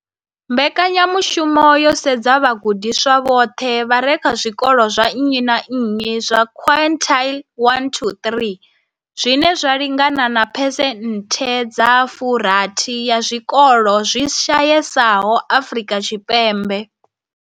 Mbekanya mushumo yo sedza vhagudiswa vhoṱhe vha re kha zwikolo zwa nnyi na nnyi zwa quintile 1-3, zwine zwa lingana na phesenthe dza 60 ya zwikolo zwi shayesaho Afrika Tshipembe.